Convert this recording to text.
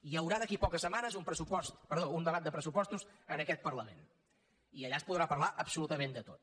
hi haurà d’aquí a poques setmanes un debat de pressupostos en aquest parlament i allà es podrà parlar absolutament de tot